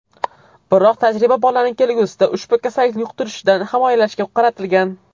Biroq tajriba bolani kelgusida ushbu kasallikni yuqtirishdan himoyalashga qaratilgan.